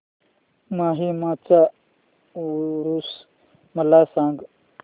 माहीमचा ऊरुस मला सांग